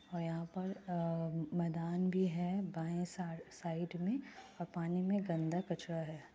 और यहां पर आ मैदान भी है। बाये साइड में पानी में गंदा कचरा है।